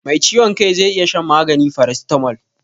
Mai ciwon kai zai iya shan magani farasitamol.